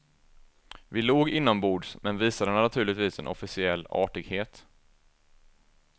Vi log inombords men visade naturligtvis en officiell artighet.